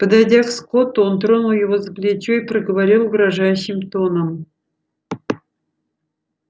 подойдя к скотту он тронул его за плечо и проговорил угрожающим тоном